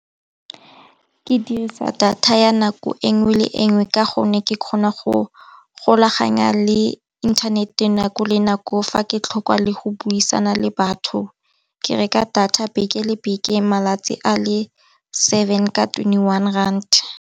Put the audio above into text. Ke dirisa data ya nako enngwe le enngwe ka gonne ke kgona go golaganya le inthanete nako le nako, fa ke tlhokwa le go buisana le batho ke reka data beke le beke, malatsi a le seven ka twenty one rand.